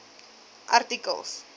artikel